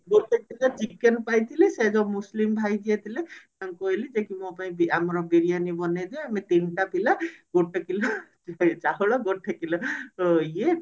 ଗୋଟେ kilo chicken ପାଇଥିଲି ସେ ଯୋଉ ମୁସଲିମ ଭାଇ ଯିଏ ଥିଲେ ତାଙ୍କୁ କହିଲି ଯେ କି ମୋ ପାଇଁ ଆମର ବିରିୟାନୀ ବନେଇ ଦିଅ ଆମେ ତିନିଟା ପିଲା ଗୋଟେ କିଲୋ ଚାଉଳ ଗୋଟେ କିଲୋ ଇଏ